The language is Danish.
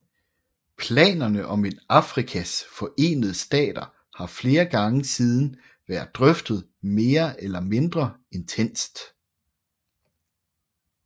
Planerne om et Afrikas Forenede Stater har flere gange siden været drøftet mere eller mindre intenst